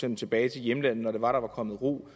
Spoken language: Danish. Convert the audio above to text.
dem tilbage til hjemlandet når der var kommet ro